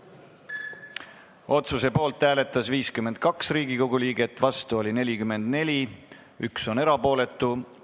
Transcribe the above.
Hääletustulemused Otsuse poolt hääletas 52 Riigikogu liiget, vastu oli 44, 1 jäi erapooletuks.